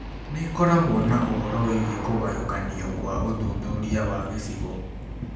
Nĩ ĩkoragwo na ũhoro wĩgiĩ kũgayũkanio kwa ũthuthuria wa gĩcigo